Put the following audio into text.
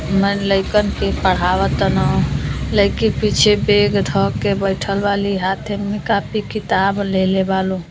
मन लइकन के पढ़वा ता न लईकी पीछे बैग ध के बइठल बाली हाथे में कॉपी किताब लेले बा लोग।